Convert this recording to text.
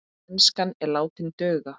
Enskan er látin duga.